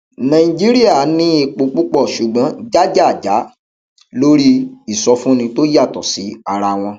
nàìjíríà ní epo púpọ ṣùgbọn jàjàjà lórí ìsọfúnni tó yàtọ sí ara wọn